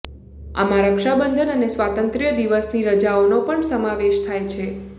આમાં રક્ષાબંધન અને સ્વાતંત્ર્ય દિવસની રજાઓનો પણ સમાવેશ થાય છે